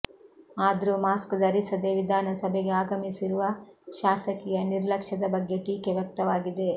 ಆದ್ರೂ ಮಾಸ್ಕ್ ಧರಿಸದೇ ವಿಧಾನಸಭೆಗೆ ಆಗಮಿಸಿರುವ ಶಾಸಕಿಯ ನಿರ್ಲಕ್ಷ್ಯದ ಬಗ್ಗೆ ಟೀಕೆ ವ್ಯಕ್ತವಾಗಿದೆ